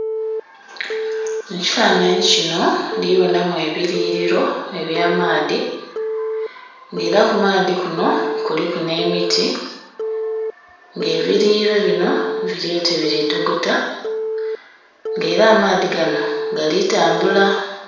Mu kifanhanhi kino ndhi bonamu ebiyughiliro eby'amaadhi nga ela ku maadhi kuno kuliku n'emiti, nga ebiyughiliro bino bili oti bili togota nga ela amaadhi gano gali tambula.